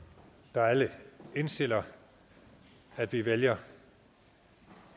der alle indstiller at vi vælger